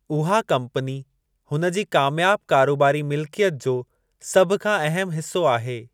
उहा कंपनी हुन जी कामयाब कारोबारी मिल्कियत जो सभ खां अहमु हिसो आहे।